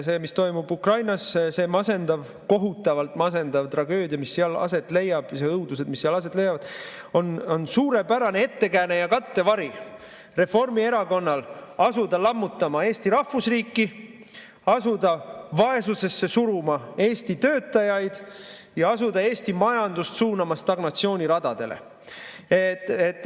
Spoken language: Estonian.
See, mis toimub Ukrainas, see masendav, kohutavalt masendav tragöödia, mis seal aset leiab, ja need õudused, mis seal aset leiavad, on suurepärane ettekääne ja kattevari Reformierakonnale, et asuda lammutama Eesti rahvusriiki, asuda Eesti töötajaid vaesusesse suruma ja asuda Eesti majandust suunama stagnatsiooni radadele.